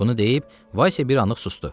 Bunu deyib, Valsya bir anlıq susdu.